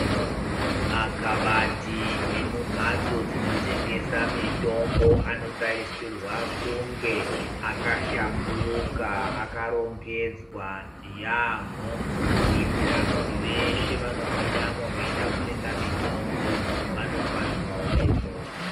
Makabati emumhatso dzinotengesa mitombo anotarisirwa kunge akashamburuka akarongedzwa yaamho kuitira kuti veshe vanopindamo veida kutenga mitombo vanofadzwawo meso.